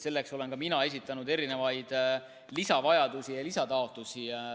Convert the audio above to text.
Selleks olen ka mina esitanud lisataotlusi.